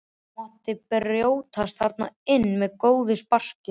Það mátti brjótast þarna inn með góðu sparki.